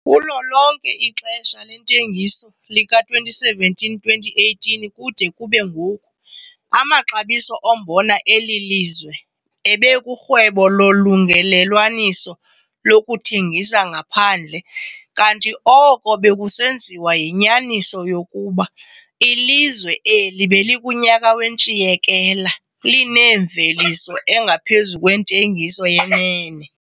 Kulo lonke ixesha lentengiso lika-2017-2018 kude kube ngoku, amaxabiso ombona eli lizwe ebekurhwebo lolungelelwaniso lokuthengisa ngaphandle kanti oko bekusenziwa yinyaniso yokuba ilizwe eli belikunyaka wentshiyekela, lineemveliso engaphezu kwentengiso yenene.